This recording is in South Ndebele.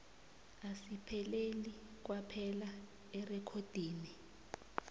asipheleli kwaphela erekhodini